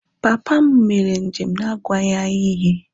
Papa m mere njem n’agwaghị anyị ihe